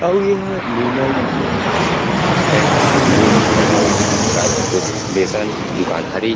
आउ ए ह निर्मल एंड लिंब कॉर्पोरशन दुकान हरे --